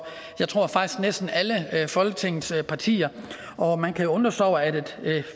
tror jeg faktisk næsten alle folketingets partier og man kan undre sig over at et